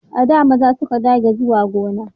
A da maza su kadai ke zuwa gona